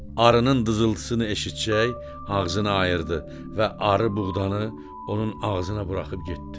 Arının dızıltısını eşitsəcək ağzını ayırdı və arı buğdanı onun ağzına buraxıb getdi.